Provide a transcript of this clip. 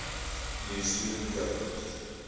new zealand government